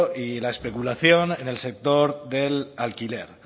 y la especulación en el sector del alquiler